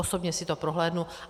Osobně si to prohlédnu.